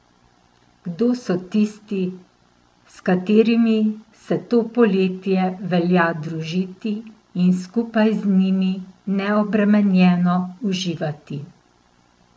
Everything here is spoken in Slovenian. Kdo so tisti, s katerimi se to poletje velja družiti in skupaj z njimi neobremenjeno uživati?